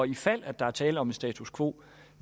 i fald der er tale om status quo